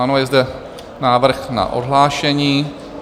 Ano, je zde návrh na odhlášení.